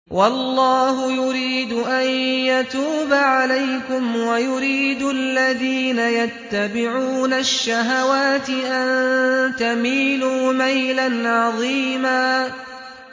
وَاللَّهُ يُرِيدُ أَن يَتُوبَ عَلَيْكُمْ وَيُرِيدُ الَّذِينَ يَتَّبِعُونَ الشَّهَوَاتِ أَن تَمِيلُوا مَيْلًا عَظِيمًا